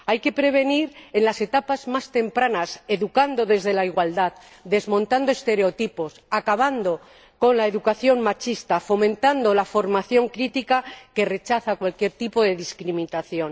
Hay que prevenir en las etapas más tempranas, educando desde la igualdad, desmontando estereotipos, acabando con la educación machista, fomentando la formación crítica que rechaza cualquier tipo de discriminación.